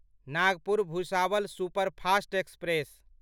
Nagpur Bhusawal superfast express